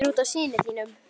Það er út af syni þínum.